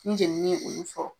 Ni jenni ye olu sɔrɔ